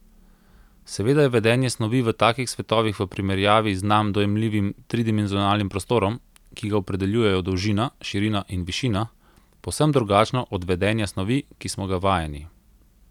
Seveda je vedenje snovi v takih svetovih v primerjavi z nam dojemljivim tridimenzionalnim prostorom, ki ga opredeljujejo dolžina, širina in višina, povsem drugačno od vedenja snovi, ki smo ga vajeni.